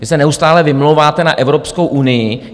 Vy se neustále vymlouváte na Evropskou unii.